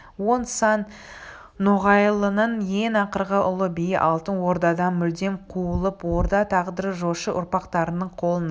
он сан ноғайлының ең ақырғы ұлы биі алтын ордадан мүлдем қуылып орда тағдыры жошы ұрпақтарының қолына